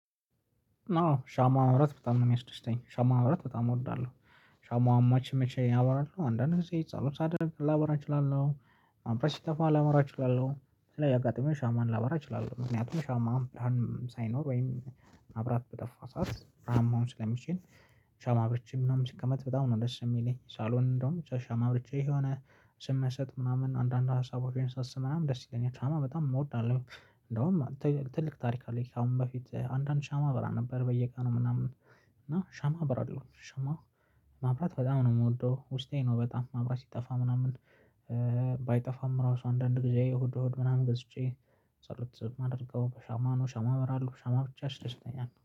አዎ ሻማ ማብራት በጣም ነው የሚያስደስተኝ ሻማ ማብራት በጣም እወዳለሁ። ሻማው መች መቼ አበራለው አንዳንድ ጊዜ ጸሎት ሳደርግ ላበራ እችላለሁ። መብራት ሲጠፋ ላበራ እችላለሁ ስለዚህ አጋጣሚው ሻማን ላበራ እችላለሁ ምክንያቱም ሻማ ብርሃን ሳይኖር ወይም መብራት በጠፋ ሰዓት ብርሃን መሆን ስለሚችል። ሻማ አብርቼ ምናምን ሲቀመጥ በጣም ነው ደስ የሚለኝ። ሳሎን እንደውም ሻማ አብርቼ የሆነ ስመሰጥ ምናምን አንዳንድ ሀሳቦቼን ሳስብ ምናምን ደስ ይለኛል ሻማ በጣም እወዳለሁ። እንደውም ትልቅ ታሪክ አለኝ ካሁን በፊት አንዳንድ ሻማ አበራ ነበር በየቀኑ ምናምን። እና ሻማ አበራለው ሻማ ማብራት በጣም ነው የምወደው ውስጤ ነው በጣም ማብራት ሲጠፋ ምናምን። ባይጠፋም ራሱ አንዳንድ ጊዜ እሁድ እሁድ ምናምን ገዝቼ ጸሎት ማደርገው በሻማ ነው። ሻማ አበራለሁ ሻማ ብቻ ያስደስተኛል